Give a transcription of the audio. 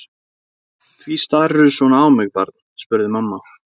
Því starirðu svona á mig barn? spurði mamma.